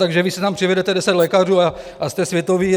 Takže vy si tam přivedete 10 lékařů a jste světoví.